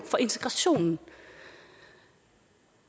for integrationen